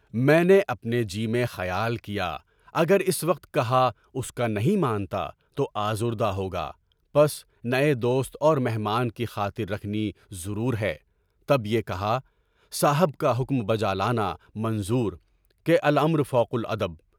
میں نے اپنے جی میں خیال کیا، اس وقت کہا، اگر اس کا نہیں مانتا تو آزردہ ہوگا، پس نئے دوست اور مہمان کی خاطر رکھنی ضرور ہے، تب یہ کہا، صاحب کا حکم بجالانا منظور کیا، الامر فوق الادب۔